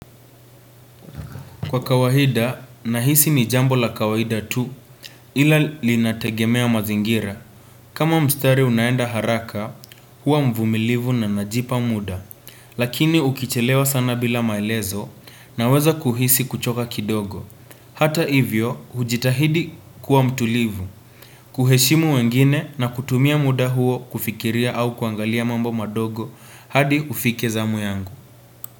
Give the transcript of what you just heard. Kwa kawahida, nahisi ni jambo la kawahida tu ila linategemea mazingira. Kama mstari unaenda haraka, hua mvumilivu na najipa muda. Lakini ukichelewa sana bila maelezo naweza kuhisi kuchoka kidogo. Hata hivyo, hujitahidi kuwa mtulivu. Kuheshimu wengine na kutumia muda huo kufikiria au kuangalia mambo madogo hadi ufike zamu yangu.